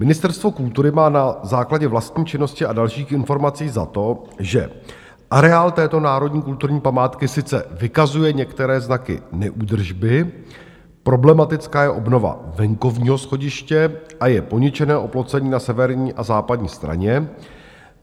Ministerstvo kultury má na základě vlastní činnosti a dalších informací za to, že areál této národní kulturní památky sice vykazuje některé znaky neúdržby, problematická je obnova venkovního schodiště a je poničené oplocení na severní a západní straně.